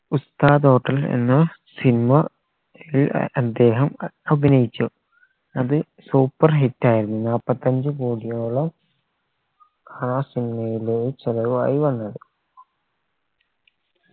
ഉസ്താദ് hotel എന്ന cinema യിൽ അദ്ദേഹം അഭിനയിച്ചു അത് superhit ആയിരുന്നു നാപ്പത്തഞ്ചു കോടിയോളം ആ cinema യിലെ ചെലവായി വന്നത്